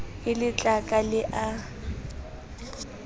e le tlaka le a